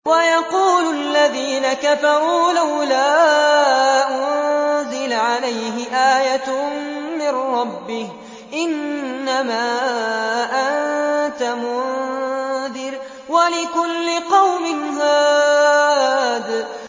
وَيَقُولُ الَّذِينَ كَفَرُوا لَوْلَا أُنزِلَ عَلَيْهِ آيَةٌ مِّن رَّبِّهِ ۗ إِنَّمَا أَنتَ مُنذِرٌ ۖ وَلِكُلِّ قَوْمٍ هَادٍ